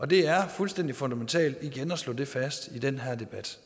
det er fuldstændig fundamentalt igen at slå det fast i den her debat